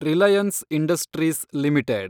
Reliance Industries limited